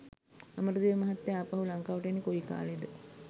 අමරදේව මහත්තයා ආපහු ලංකාවට එන්නේ කොයි කාලෙද?